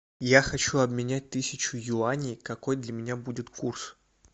я хочу обменять тысячу юаней какой для меня будет курс